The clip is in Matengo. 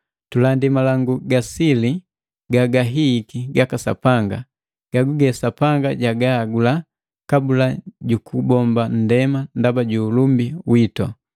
Tulandi malangu ga sili gagahihiki gaka Sapanga, gaguge Sapanga jagahagula kabula jukubomba nndema ndaba ju ulumbi witu.